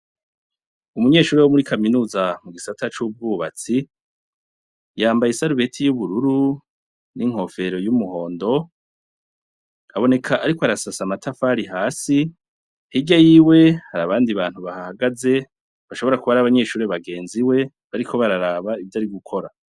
Umunyeshure wo muri Kaminuza mu gisata c'ubwubatsi , yambaye isarubeti y'ubururu n'inkofero y'umuhondo. Aboneka ariko arasasa amatafari hasi .Hirya yiwe ,hari abandi bantu bahahagaze , bashobora kuba ari abanyeshure bagenzi we bariko bararaba ivyo ari gukora.